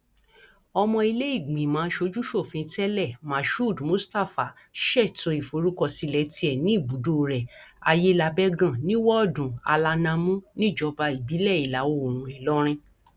ọmọ iléìgbìmọ asojúsòfin tẹlẹ mashood mustapha ṣètò ìforúkọsílẹ tiẹ ní ibùdó rẹ aiyelábẹgàn ní woodu alanamú níjọba ìbílẹ ìlàoòrùn ìlọrin